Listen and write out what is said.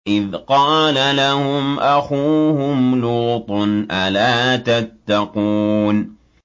إِذْ قَالَ لَهُمْ أَخُوهُمْ لُوطٌ أَلَا تَتَّقُونَ